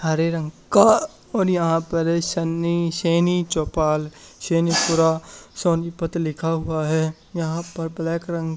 हरे रंग का और यहां पर शनि सैनी चौपाल सैनीपुरा सोनीपत लिखा हुआ है यहां पर ब्लैक रंग --